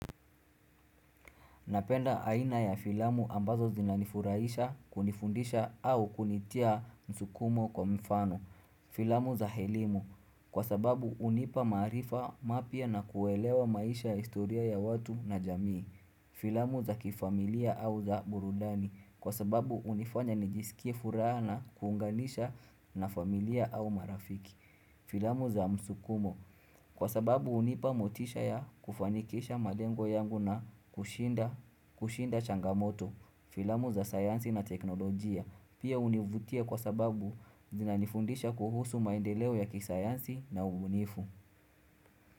Napenda aina ya filamu ambazo zinanifurahisha, kunifundisha au kunitia msukumo kwa mfano. Filamu za elimu, kwa sababu unipa maarifa mapya na kuelewa maisha historia ya watu na jamii. Filamu za kifamilia au za burudani, kwa sababu hunifanya nijisikie furaha na kuunganisha na familia au marafiki. Filamu za msukumo kwa sababu hunipa motisha ya kufanikisha malengo yangu na kushinda changamoto. Filamu za sayansi na teknolojia pia hunivutia kwa sababu zinanifundisha kuhusu maendeleo ya kisayansi na ubunifu.